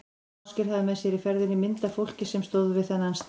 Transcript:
Ásgeir hafði með sér í ferðinni mynd af fólki sem stóð við þennan stein.